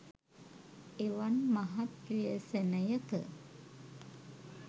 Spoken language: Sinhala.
එවන් මහත් ව්‍යසනයක